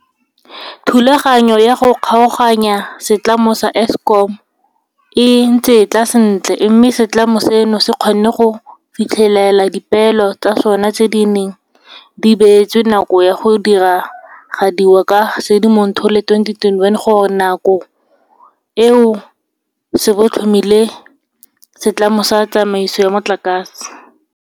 Thulaganyo ya go kgaoganya setlamo sa Eskom e ntse e tla sentle, mme setlamo seno se kgonne go fitlhelela dipeelo tsa sona tse di neng di beetswe nako ya go diragadiwa ka Sedimonthole 2021 gore ka nako eo se bo se tlhomile Setlamo sa Tsamaiso ya Motlakase.